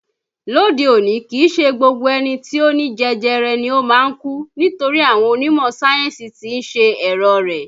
Lóde òní kìí ṣe gbogbo ẹni tí ó ní jẹjẹrẹ ni o máa ń kú nítorí àwọn onímọ̀ sáyẹ́ǹsì tí ń ṣe ẹ̀rọ̀ rẹ̀